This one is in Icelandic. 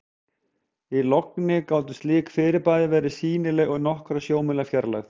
Í logni gátu slík fyrirbæri verið sýnileg úr nokkurra sjómílna fjarlægð.